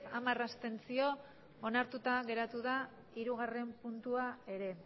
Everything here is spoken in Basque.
hamar abstentzio onartuta geratu da hirugarren puntua ere